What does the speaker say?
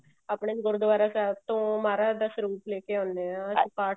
ਆਪਨੇ ਗੁਰਦਵਾਰਾ ਸਾਹਿਬ ਤੋਂ ਮਹਾਰਾਜ ਦਾ ਸਰੂਪ ਲੇਕੇ ਆਉਂਦੇ ਹਾਂ ਅਸੀਂ ਪਾਠ